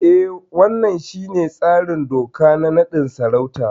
E, wannan shine tsarin doka na naɗin sarauta.